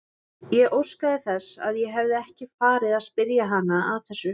Ég óskaði þess að ég hefði ekki farið að spyrja hana að þessu.